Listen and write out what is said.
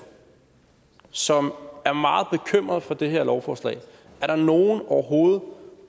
som er meget bekymret for det her lovforslag er der nogen overhovedet